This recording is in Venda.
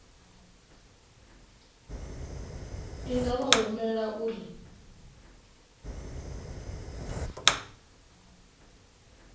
i nga vha humbela uri